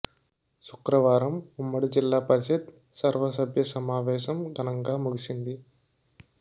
శుక్రవారం ఉమ్మడి జిల్లా జిల్లా పరిషత్ సర్వసభ్య సమావేశం ఘనంగా ముగిసింది